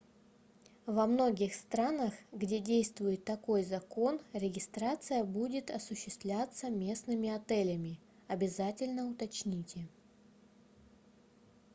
во многих странах где действует такой закон регистрация будет осуществляться местными отелями обязательно уточните